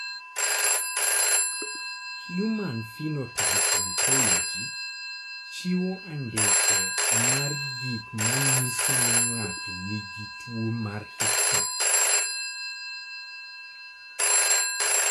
Human Phenotype Ontology chiwo andike mar gik ma nyiso ni ng'ato nigi tuwo mar hiccups.